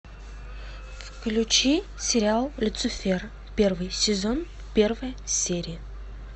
включи сериал люцифер первый сезон первая серия